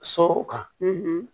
Sow kan